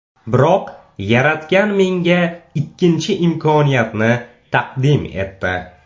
Biroq Yaratgan menga ikkinchi imkoniyatni taqdim etdi.